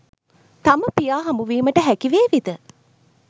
තම පියා හමුවිමට හැකිවේවිද?